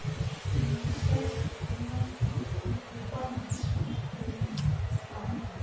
emiswe kukwandiswa kwemibango